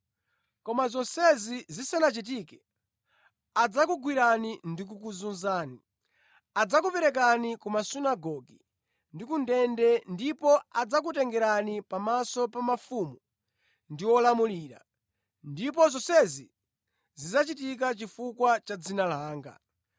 “Koma zonsezi zisanachitike, adzakugwirani ndi kukuzunzani. Adzakuperekani ku masunagoge ndi ku ndende, ndipo adzakutengerani pamaso pa mafumu ndi olamulira, ndipo zonsezi zidzachitika chifukwa cha dzina langa.